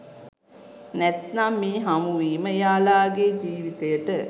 නැත්නම් මේ හමුවීම එයාලගේ ජීවිතයට